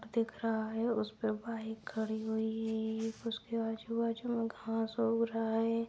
दिख रहा है उसमें बाइक खड़ी हुई है उसके आजू-बाजू में घास उग रहा है।